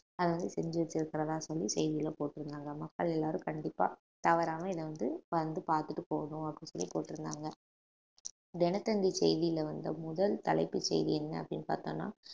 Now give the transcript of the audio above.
அத வந்து செஞ்சுட்டு இருக்கிறதா சொல்லி செய்தியிலே போட்டிருந்தாங்க மக்கள் எல்லாரும் கண்டிப்பா தவறாம இத வந்து வந்து பார்த்துட்டு போகணும் அப்படின்னு சொல்லி போட்டிருந்தாங்க தினத்தந்தி செய்தியில வந்த முதல் தலைப்புச் செய்தி என்ன அப்படின்னு பார்த்தோம்ன்னா